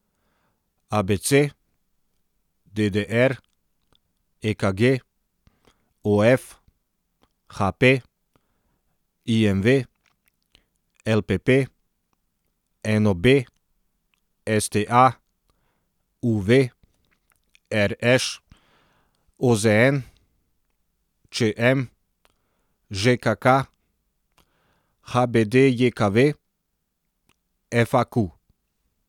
A B C; D D R; E K G; O F; H P; I M V; L P P; N O B; S T A; U V; R Š; O Z N; Č M; Ž K K; H B D J K V; F A Q.